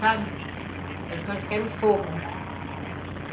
Fazia de conta que era um forno.